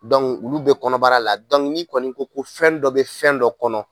ulu bɛ kɔnɔbara la. n'i kɔni ko ko fɛn dɔ be fɛn dɔ kɔnɔ